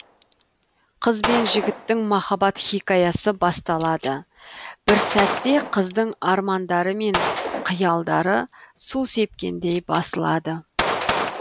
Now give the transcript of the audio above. қыз бен жігіттің махаббат хикаясы басталады бір сәтте қыздың армандары мен қиялдары су сепкендей басылады